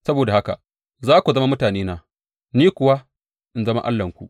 Saboda haka za ku zama mutanena, ni kuwa in zama Allahnku.’